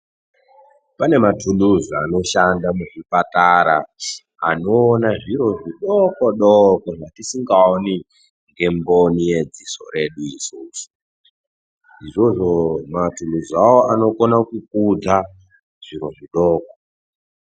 Pane matuluzi anoshanda muzvipatara anoona zviro zvidokodoko zvatisingaoni ngemboni yedziso redu isusu. Izvozvo matuluz awawo anokona kukudza zviro zvidoko.